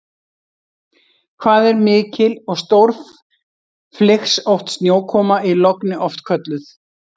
Hvað er mikil og stórflygsótt snjókoma í logni oft kölluð?